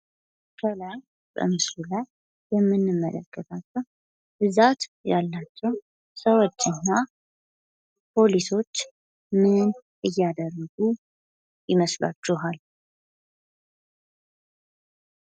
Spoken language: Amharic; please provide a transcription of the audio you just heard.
ከላይ በምስሉ ላይ የምንመለከታቸዉ ሰዎችና ፖሊሶች ምን እያደረጉ ይመስላችኋል?